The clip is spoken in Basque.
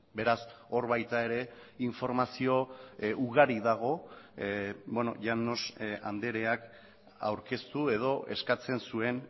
beraz hor baita ere informazio ugari dago llanos andreak aurkeztu edo eskatzen zuen